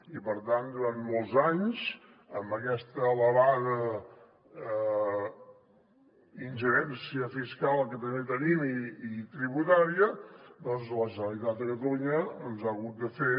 i per tant durant molts anys amb aquesta elevada ingerència fiscal que també tenim i tributària doncs la generalitat de catalunya ens ha hagut de fer